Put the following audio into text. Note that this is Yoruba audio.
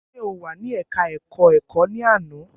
Ṣe o wà ní ẹka ẹ̀kọ́ ẹ̀kọ́ ní àná?